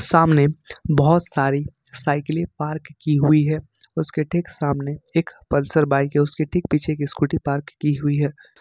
सामने बहुत सारी साइकिलें पार्क की हुई है उसके ठीक सामने एक पल्सर बाइक है उसके ठीक पीछे एक स्कूटी पार्क की हुई है।